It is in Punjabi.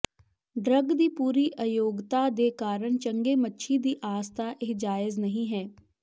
ਡਰੱਗ ਦੀ ਪੂਰੀ ਅਯੋਗਤਾ ਦੇ ਕਾਰਨ ਚੰਗੇ ਮੱਛੀ ਦੀ ਆਸ ਦਾ ਇਹ ਜਾਇਜ਼ ਨਹੀਂ ਹੈ